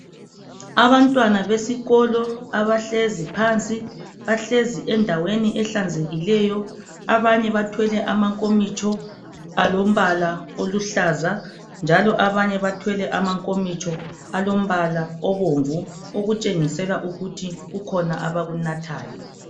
Abantwana besikolo abahlezi phansi bahlezi endaweni ehlanzekileyo, abanye bathwele amankomitsho alombala oluhlaza njalo abanye bathwele amankomitsho alombala obomvu okutshengisela ukuthi kukhona abakunathayo.